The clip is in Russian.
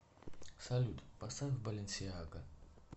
салют поставь баленсиага